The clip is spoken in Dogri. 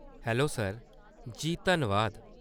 Hello sir ! जी, धन्नबाद।